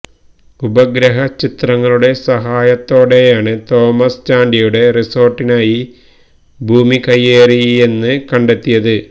ഉപഗ്രഹ ചിത്രങ്ങളുടെ സഹായത്തോടെയാണ് തോമസ് ചാണ്ടിയുടെ റിസോര്ട്ടിനായി ഭൂമി കയ്യേറിയെന്ന് കണ്ടെത്തിയത്